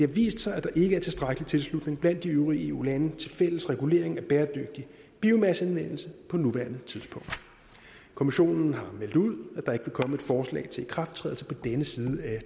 vist sig at der ikke er tilstrækkelig tilslutning blandt de øvrige eu lande til fælles regulering af bæredygtig biomasseanvendelse på nuværende tidspunkt kommissionen har meldt ud at der komme et forslag til ikrafttrædelse på denne side af